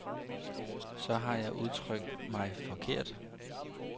Så har jeg udtrykt mig forkert.